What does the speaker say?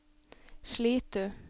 Slitu